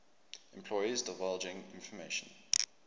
employees divulging information